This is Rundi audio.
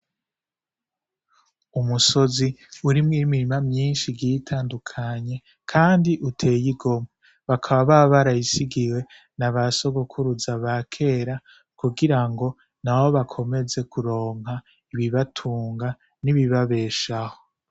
Umusozi urimwo imirima myinshi igiye itandukanye kandi uteye igomwe, bakaba barayisigiwe na ba sogokuruza ba kera kugira ngo nabo bakomeze kuronka ibibatunga n'ibibabeshaho.